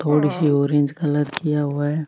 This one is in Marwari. थोड़ी सी ऑरेंज कलर किया हुआ है।